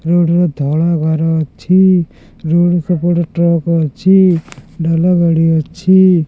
Road ର ଧଳା ଗାର ଅଛି ରୋଡ ସେପଟେ ଟ୍ରକ୍ ଅଛି ଡାଲା ଗାଡି ଅଛି।